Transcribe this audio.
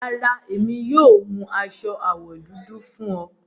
Rárá, emi yóò hún aṣọ awọ dúdú fún ọ